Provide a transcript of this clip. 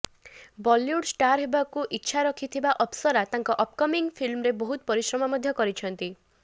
Bollywood star ହେବାକୁ ଇଚ୍ଛା ରଖିଥିବା ଅପସରା ତାଙ୍କ ଅପ୍କମିଂ ଫିଲ୍ମରେ ବହୁତ ପରିଶ୍ରମ ମଧ୍ୟ କରିଛନ୍ତି